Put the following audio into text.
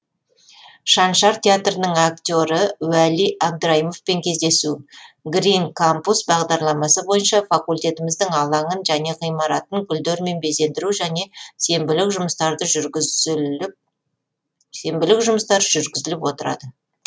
шаншар театрының актеры уәли абдраимовпен кездесу грин кампус бағдарламасы бойынша факультетіміздің алаңын және ғимаратын гүлдермен безендіру және сенбілік жұмыстар жүргізіліп отырады